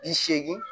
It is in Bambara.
Bi seegin